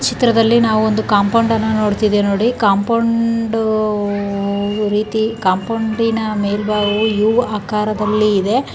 ಚಿತ್ರದಲ್ಲಿ ನಾವ್ ಒಂದು ಕಾಂಪೌಂಡ್ ಅನ್ನು ನೋಡ್ತಿವಿ ನೋಡಿ ಕಾಂಪೌಂಡ್ ರೀತಿ ಕಾಂಪೌಂಡಿನ ಮೇಲ್ಭಾಗವು ಯು ಆಕಾರದಲ್ಲಿದೆ.